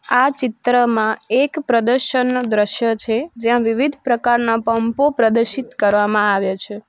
આ ચિત્રમાં એક પ્રદર્શનનો દ્રશ્ય છે જ્યાં વિવિધ પ્રકારના પંપો પ્રદર્શિત કરવામાં આવ્યા છે.